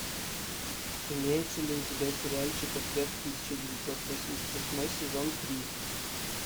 имеется ли у тебя сериальчик ответ в тысяча девятьсот восемьдесят восьмой сезон три